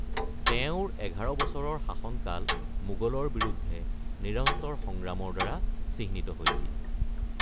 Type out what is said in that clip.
তেওঁৰ এঘাৰ বছৰৰ শাসনকাল মোগলৰ বিৰুদ্ধে নিৰন্তৰ সংগ্ৰামৰ দ্বাৰা চিহ্নিত হৈছিল।